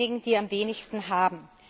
Diejenigen, die am wenigsten haben!